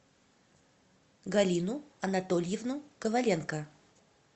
галину анатольевну коваленко